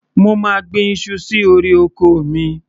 Mo máa gbin iṣu sí orí oko mi.